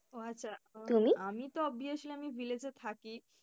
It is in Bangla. ও আচ্ছা তো obviously আমি village এ থাকি।